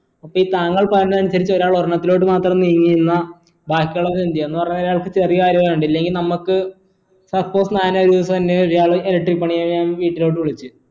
അപ്പോ ഈ താങ്കൾ പറഞ്ഞത് അനുസരിച്ച് ഒരാൾ ഒരെണ്ണത്തിലോട്ട് മാത്രം നീങ്ങിന്ന ബാക്കിയുള്ളവർ എന്ത് ചെയ്യും എന്ന് പറഞ്ഞ അയാൾക്ക് ചെറിയ കാര്യാ വേണ്ടേ ഇല്ലെങ്കി നമ്മക്ക് suppose ഒരാൾ electric പണി ചെയ്യാൻ വീട്ടിലോട്ട് വിളിച്ചു